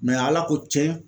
ala ko tiɲɛ